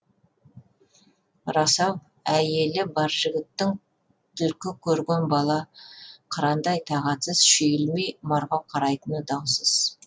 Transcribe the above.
рас ау әйелі бар жігіттің түлкі көрген бала қырандай тағатсыз шүйілмей марғау қарайтыны даусыз